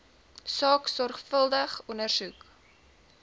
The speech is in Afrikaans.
saak sorgvuldig ondersoek